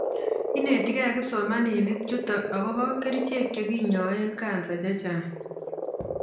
Inetikei kipsomaninik chuto akobo kerichek chekinyoe kansa chechang